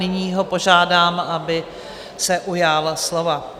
Nyní ho požádám, aby se ujal slova.